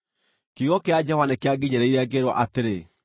Kiugo kĩa Jehova nĩkĩanginyĩrĩire, ngĩĩrwo atĩrĩ: